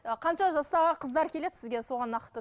қанша жастағы қыздар келеді сізге соған нақты